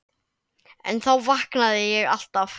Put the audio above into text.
En þá vaknaði ég alltaf.